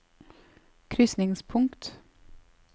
krysningspunkt